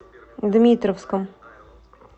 дмитровском